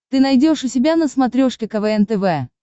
ты найдешь у себя на смотрешке квн тв